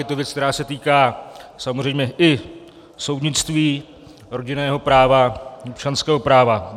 Je to věc, která se týká samozřejmě i soudnictví, rodinného práva, občanského práva.